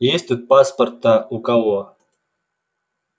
есть тут паспорта у кого